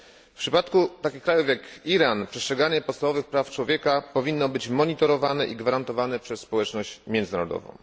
W przypadku takich krajów, jak Iran, przestrzeganie podstawowych praw człowieka powinno być monitorowane i gwarantowane przez społeczność międzynarodową.